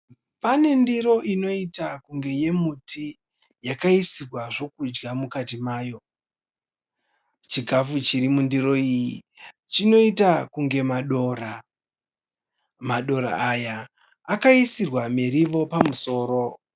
Pane ndiro inoita kunge yemuti yakaisirwa zvokudya mukati mayo. Chikafu chiri mundiro iyi chinoita kunge madora. Madora aya akaisirwa miriwo pamusoro.